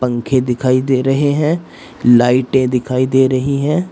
पंखे दिखाई दे रहे हैं लाइटे दिखाई दे रही है।